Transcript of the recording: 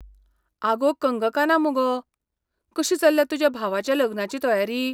आगो कंगकाना मुगो! कशी चल्ल्या तुज्या भावाच्या लग्नाची तयारी?